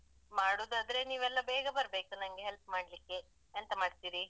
ಮಾಡುದಾದ್ರೆ ನೀವೆಲ್ಲ ಬೇಗ ಬರ್ಬೇಕು ನನ್ಗೆ ಹೆಲ್ಪ್ ಮಾಡ್ಲಿಕ್ಕೆ ಎಂತ ಮಾಡ್ತೀರಿ?